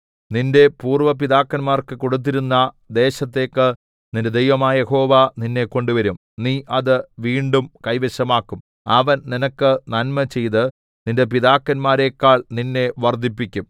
നിന്റെ പൂര്‍വ്വ പിതാക്കന്മാർക്ക് കൊടുത്തിരുന്ന ദേശത്തേക്ക് നിന്റെ ദൈവമായ യഹോവ നിന്നെ കൊണ്ടുവരും നീ അത് വീണ്ടും കൈവശമാക്കും അവൻ നിനക്ക് നന്മചെയ്ത് നിന്റെ പിതാക്കന്മാരെക്കാൾ നിന്നെ വർദ്ധിപ്പിക്കും